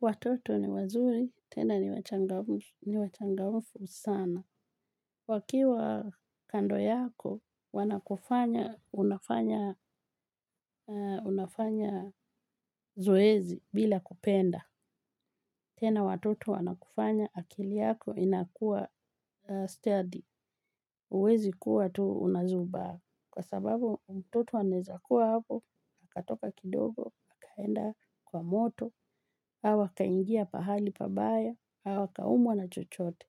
Watoto ni wazuri, tena ni wachangamfu sana. Wakiwa kando yako, wanakufanya, unafanya, unafanya zoezi bila kupenda. Tena watoto wanakufanya, akili yako inakuwa stadi. Huwezi kuwa tuu unazubaa. Kwa sababu, mtoto anawezakuwa hapo, akatoka kidogo, akaenda kwa moto, au akaingia pahali pabaya auaka umwa na chochote.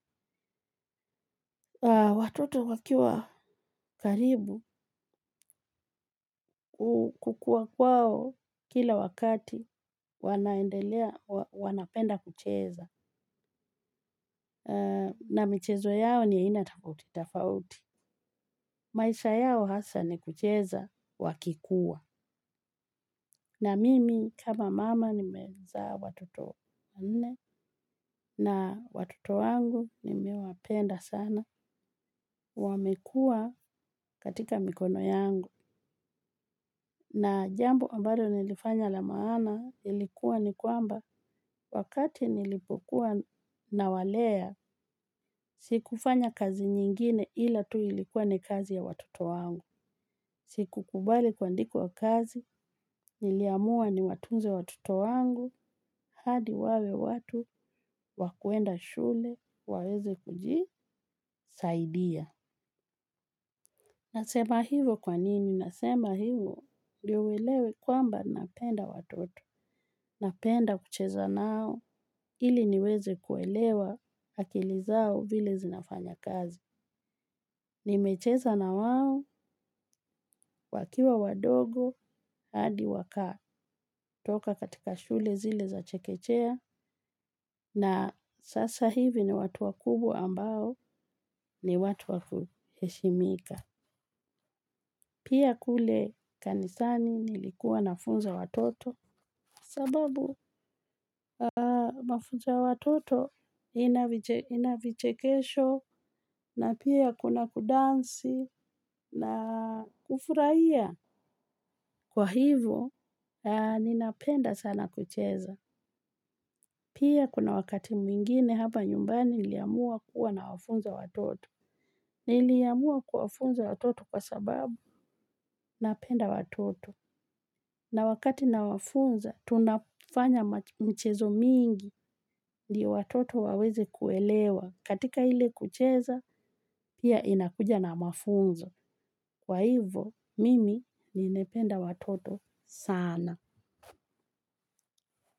Watoto wakiwa karibu kukua kwao kila wakati wanaendelea wanapenda kucheza. Na michezo yao ni yainatofauti tofauti. Maisha yao hasa ni kucheza wakikuwa. Na mimi kama mama nimezaa watoto nne. Na watoto wangu nimewapenda sana. Wamekua katika mikono yangu. Na jambo ambalo nilifanya la maana ilikuwa ni kwamba wakati nilipokuwa na walea, siku fanya kazi nyingine ila tu ilikuwa ni kazi ya watoto wangu. Siku kubali kua ndikwa kazi, niliamua ni watunze watoto wangu, hadi wawe watu, wakwenda shule, waweze kuji, saidia. Nasema hivyo kwanini, nasema hivyo ndiyouelewe kwamba napenda watoto. Napenda kucheza nao ili niweze kuelewa akili zao vile zinafanya kazi. Nimecheza na wao wakiwa wadogo hadi waka toka katika shule zile za chekechea na sasa hivi ni watu wakubwa ambao ni watu wakuheshimika. Pia kule kanisani nilikuwa nafunza watoto. Sababu mafunzoya watoto inavichekesho na pia kuna kudansi na kufurahia. Kwa hivyo, ninapenda sana kucheza. Pia kuna wakati mwingine hapa nyumbani iliamua kuwa na wafunza watoto. Niliamua kuwa wafunza watoto kwa sababu napenda watoto. Na wakati na wafunza, tunafanya mchezo mingi ndiyo watoto waweze kuelewa. Katika ile kucheza, pia inakuja na mafunzo. Kwa hivyo, mimi nilipenda watoto sana.